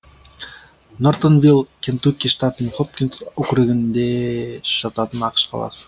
нортонвилл кентукки штатының хопкинс округінде жататын ақш қаласы